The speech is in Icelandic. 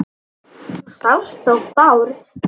Þú sást þó Bárð?